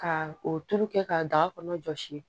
Ka o tulu kɛ ka daga kɔnɔ jɔsi